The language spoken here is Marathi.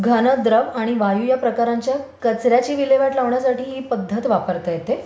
घन, द्रव आणि वायु या प्रकारांच्या कचर् याची विल्हेवाट लावण्यासाठी ही पध्दत वापरण्यात येते.